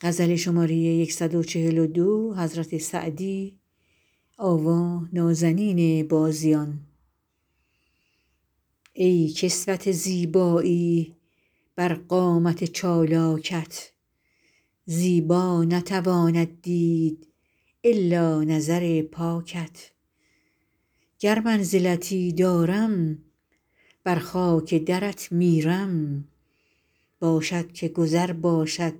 ای کسوت زیبایی بر قامت چالاکت زیبا نتواند دید الا نظر پاکت گر منزلتی دارم بر خاک درت میرم باشد که گذر باشد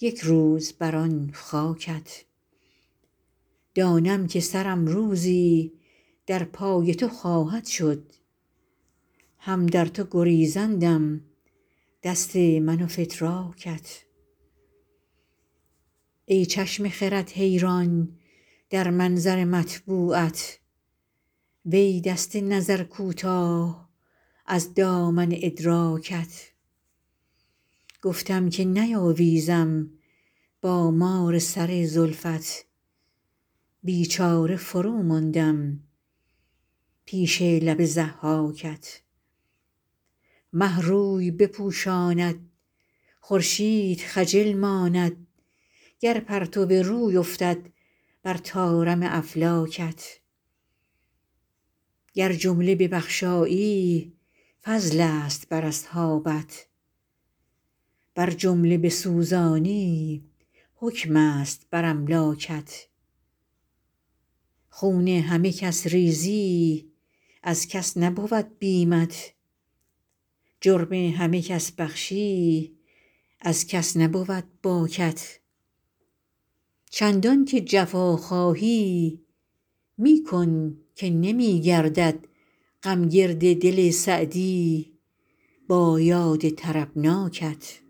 یک روز بر آن خاکت دانم که سرم روزی در پای تو خواهد شد هم در تو گریزندم دست من و فتراکت ای چشم خرد حیران در منظر مطبوعت وی دست نظر کوتاه از دامن ادراکت گفتم که نیاویزم با مار سر زلفت بیچاره فروماندم پیش لب ضحاکت مه روی بپوشاند خورشید خجل ماند گر پرتو روی افتد بر طارم افلاکت گر جمله ببخشایی فضلست بر اصحابت ور جمله بسوزانی حکمست بر املاکت خون همه کس ریزی از کس نبود بیمت جرم همه کس بخشی از کس نبود باکت چندان که جفا خواهی می کن که نمی گردد غم گرد دل سعدی با یاد طربناکت